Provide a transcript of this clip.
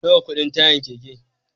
Nawa kudin tayan keke